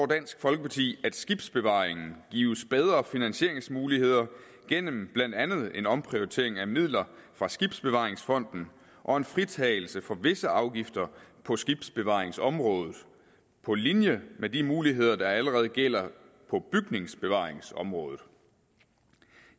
dansk folkeparti at skibsbevaringen gives bedre finansieringsmuligheder gennem blandt andet en omprioritering af midler fra skibsbevaringsfonden og en fritagelse for visse afgifter på skibsbevaringsområdet på linje med de muligheder der allerede gælder på bygningsbevaringsområdet